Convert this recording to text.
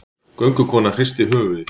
Göngukonan hristi höfuðið.